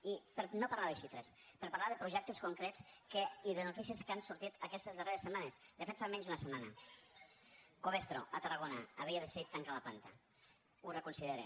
i per no parlar de xifres per parlar de projectes concrets i de notícies que han sortit aquestes darreres setmanes de fet fa menys d’una setmana covestro a tarragona havia decidit tancar la planta ho reconsidera